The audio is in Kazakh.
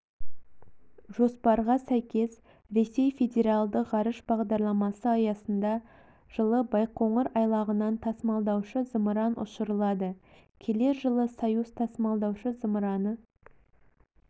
жоспарға сәйкес ресей федералды ғарыш бағдарламасы аясында жылы байқоңыр айлағынан тасымалдаушы-зымыран ұшырылады келер жылы союз тасымалдаушы-зымыраны